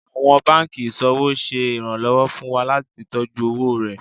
Àwọn banki iṣowo ṣe ìrànlọ́wọ́ fún wa láti tọjú owó rẹ.